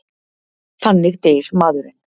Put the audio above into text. Þannig deyr maðurinn.